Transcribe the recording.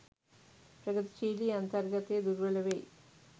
ප්‍රගතිශීලි අන්තර්ගතය දුර්වල වෙයි.